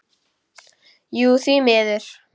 Jú því miður.